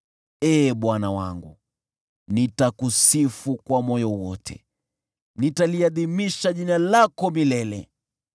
Ee Bwana wangu, nitakusifu kwa moyo wote; nitaliadhimisha jina lako milele.